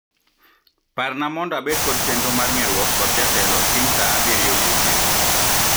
Parna mondo bed kod chenro mar ng'erwok kod jatelo kiny saa abirio odiechieng'.